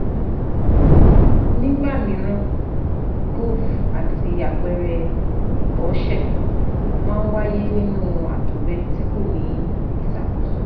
Nígbà mìíràn gove àti àpẹẹrẹ ìbọ̀sẹ̀ máa ń wáyé nínú àtọ̀gbẹ tí kò ní ìṣàkóso